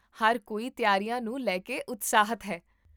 ਹਰ ਕੋਈ ਤਿਆਰੀਆਂ ਨੂੰ ਲੈ ਕੇ ਉਤਸ਼ਾਹਿਤ ਹੈ